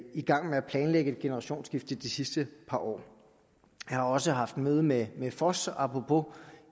i gang med at planlægge et generationsskifte de sidste par år jeg har også haft møde med med foss